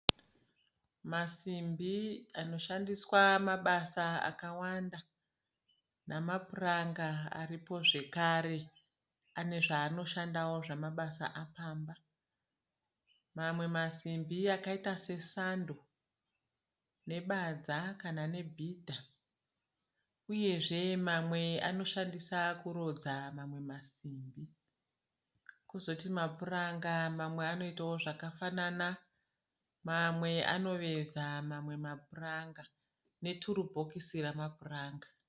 Masimbi anoshandiswa mabasa akawanda namapuranga aripo zvekare, anozvaanoshandawo zvemabasa apamba mamwe masimbi akaita sesando nebadza kana nebhidha uyezve mamwe anoshandiswa kurodza mamwe masimbi. Kuzoti mapuranga mamwe anoita zvakafanana, mamwe anoveza mamwe mapuranga neturusibokisi ramapuranga.